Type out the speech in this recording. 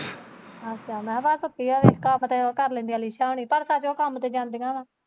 ਅੱਛਾ ਮੈਂ ਕਿਹਾ ਭਲਾ ਛੁੱਟੀ ਹੋਵੇ ਕੰਮ ਤੇ ਉਹ ਕਰ ਲੈਦੀਆਂ ਨੀਸ਼ਾ ਹੁੁਣੀ ਪਰ ਉਹ ਸੱਚ ਕੰਮ ਤੇ ਜਾਂਦੀਆਂ ਵਾਂ।